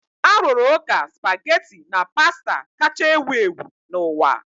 A rụrụ ụka spaghetti na pasta kacha ewu ewu n'ụwa.